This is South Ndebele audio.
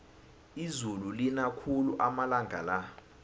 izulu lina khulu amalanga la